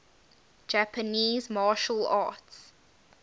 japanese martial arts